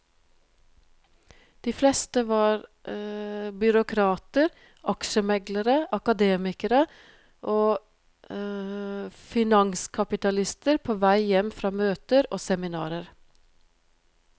De fleste var byråkrater, aksjemeglere, akademikere og finanskapitalister på vei hjem fra møter og seminarer.